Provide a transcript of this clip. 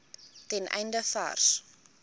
ten einde vars